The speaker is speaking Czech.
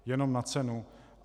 Jenom na cenu.